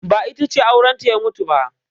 Ba, ita ce aurenta ya mutu ba.